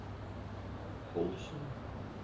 Holsen